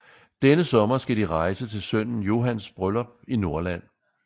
Denne sommer skal de rejse til sønnen Johans bryllup i Norrland